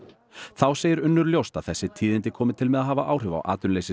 þá segir Unnur ljóst að þessi tíðindi komi til með að hafa áhrif á